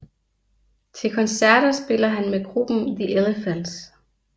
Til koncerter spiller han med gruppen The Elephants